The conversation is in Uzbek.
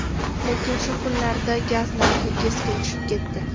Lekin shu kunlarda gaz narxi keskin tushib ketdi.